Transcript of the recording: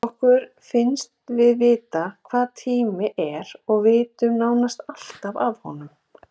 Okkur finnst við vita hvað tími er og vitum nánast alltaf af honum.